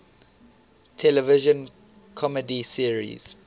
television comedy series